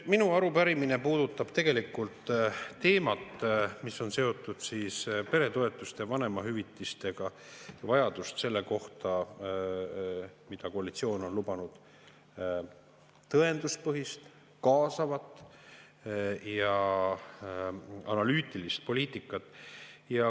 Minu arupärimine puudutab tegelikult teemat, mis on seotud peretoetuste ja vanemahüvitistega, ja vajadust selle järele, mida koalitsioon on lubanud – tõenduspõhist, kaasavat ja analüütilist poliitikat.